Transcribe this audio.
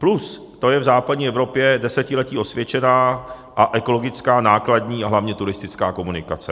Plus to je v západní Evropě desetiletí osvědčená a ekologická nákladní a hlavně turistická komunikace.